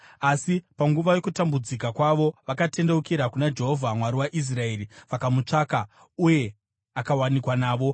Asi panguva yokutambudzika kwavo vakatendeukira kuna Jehovha, Mwari waIsraeri, vakamutsvaka, uye akawanikwa navo.